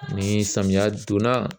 Ni samiyɛ donna